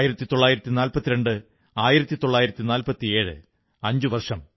1942 1947 അഞ്ചു വർഷം